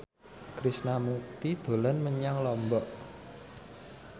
Krishna Mukti dolan menyang Lombok